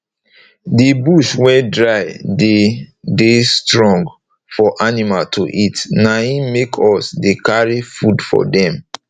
d bush wey dry dey dey strong for animal to eat na im make us dey carry food for dem